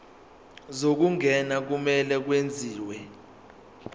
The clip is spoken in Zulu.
zokungena kumele kwenziwe